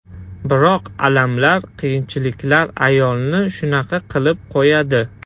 Biroq alamlar, qiyinchiliklar ayolni shunaqa qilib qo‘yadi.